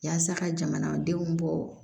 Yaasa ka jamanadenw bɔ